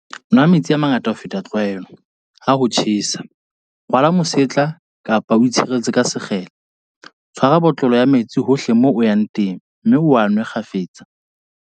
Nwa metsi a mangata ho feta tlwaelo, ha ho tjhesa. Rwala mosetla kapa o itshireletse ka sekgele. Tshwara botlolo ya metsi hohle moo o yang teng mme o a nwe kgafetsa.